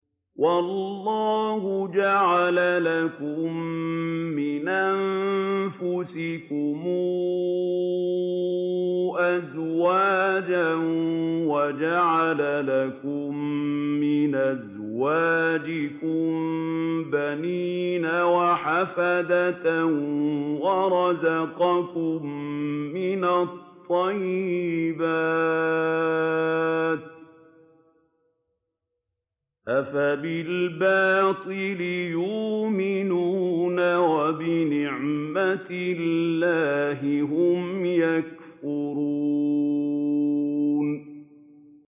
وَاللَّهُ جَعَلَ لَكُم مِّنْ أَنفُسِكُمْ أَزْوَاجًا وَجَعَلَ لَكُم مِّنْ أَزْوَاجِكُم بَنِينَ وَحَفَدَةً وَرَزَقَكُم مِّنَ الطَّيِّبَاتِ ۚ أَفَبِالْبَاطِلِ يُؤْمِنُونَ وَبِنِعْمَتِ اللَّهِ هُمْ يَكْفُرُونَ